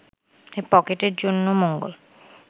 পকেটের জন্য মঙ্গল